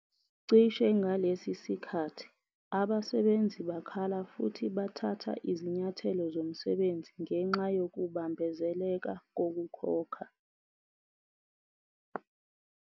Cishe ngalesi sikhathi, abasebenzi bakhala futhi bathatha izinyathelo zomsebenzi ngenxa yokubambezeleka kokukhokha.